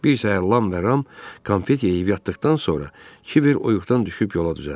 Bir səhər Lam və Ram konfet yeyib yatdıqdan sonra Kibər oyuğdan düşüb yola düzəldi.